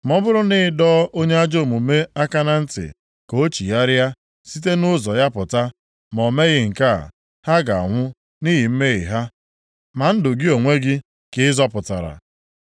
Ma ọ bụrụ na ị dọọ onye ajọ omume aka na ntị ka o chigharịa site nʼụzọ ya pụta, ma o meghị nke a, ha ga-anwụ nʼihi mmehie ha, ma ndụ gị onwe gị ka ị zọpụtara.